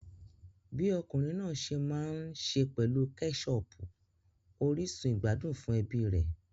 Bi ọkùnrin náà se n maa n se pelu keshopu orísun ìgbádùn fún ẹbí rẹ̀.